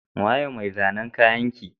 Waye mai zanan kayanki?